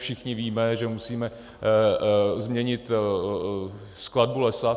Všichni víme, že musíme změnit skladbu lesa.